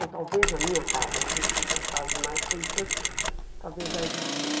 Ou talvez na minha casa não existisse, nas casas mais ricas talvez já existisse.